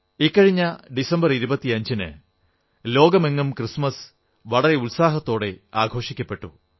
ഇക്കഴിഞ്ഞ ഡിസംബർ 25 ന് ലോകമെങ്ങും ക്രിസ്തുമസ് വളരെ ഉത്സാഹത്തോടെ ആഘോഷിക്കപ്പെട്ടു